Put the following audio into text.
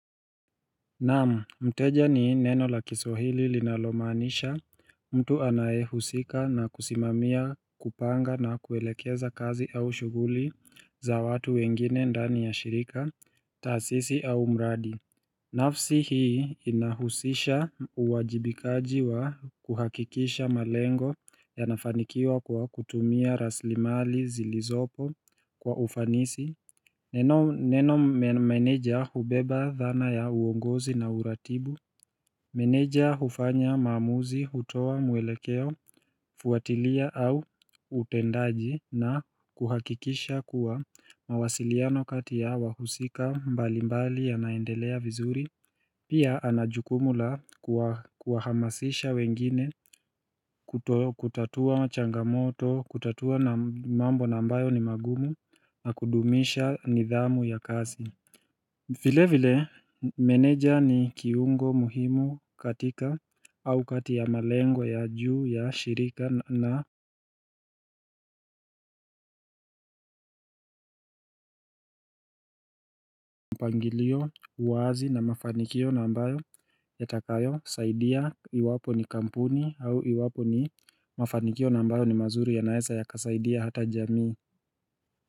Naam, mteja ni neno la kiswahili linalomanisha? Mtu anayehusika na kusimamia kupanga na kuelekeza kazi au shughuli za watu wengine ndani ya shirika, taasisi au mradi. Nafsi hii inahusisha uwajibikaji wa kuhakikisha malengo ya nafanikiwa kwa kutumia rasilimali zilizopo kwa ufanisi. Neno meneja hubeba dhana ya uongozi na uratibu. Meneja hufanya maamuzi, hutoa mwelekeo, fuatilia au utendaji na kuhakikisha kuwa mawasiliano kati ya wahusika mbali mbali ya naendelea vizuri. Pia anajukumu la kuhamasisha wengine kutatua changamoto, kutatua mambo ambayo ni magumu na kudumisha nidhamu ya kazi. Vile vile meneja ni kiungo muhimu katika au kati ya malengo ya juu ya shirika. Na mpangilio wazi na mafanikio ambayo, yatakayo saidia iwapo ni kampuni au iwapo ni. Mafanikio ambayo ni mazuri yanaeza yakasaidia hata jamii.